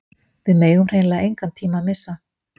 Við megum hreinlega engan tíma missa